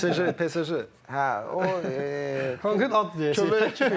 PSJ, PSJ, hə o Kankan ad diyək.